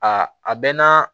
A a bɛ na